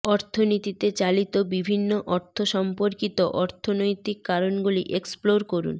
অর্থনীতিতে চালিত বিভিন্ন অর্থ সম্পর্কিত অর্থনৈতিক কারণগুলি এক্সপ্লোর করুন